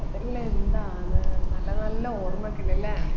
അതെല്ലം എന്താണ് നല്ല നല്ല ഓർമ്മകൾ അല്ലെ